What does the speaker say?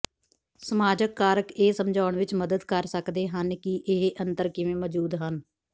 ਸਮਾਜਕ ਕਾਰਕ ਇਹ ਸਮਝਾਉਣ ਵਿੱਚ ਮਦਦ ਕਰ ਸਕਦੇ ਹਨ ਕਿ ਇਹ ਅੰਤਰ ਕਿਵੇਂ ਮੌਜੂਦ ਹਨ